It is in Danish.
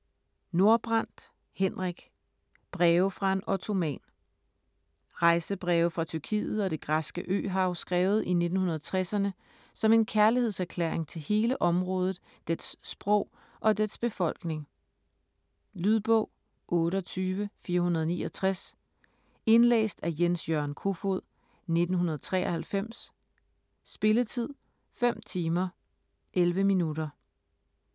Nordbrandt, Henrik: Breve fra en ottoman Rejsebreve fra Tyrkiet og det græske øhav skrevet i 1960'erne som en kærlighedserklæring til hele området, dets sprog og dets befolkning. Lydbog 28469 Indlæst af Jens-Jørgen Kofod, 1993. Spilletid: 5 timer, 11 minutter.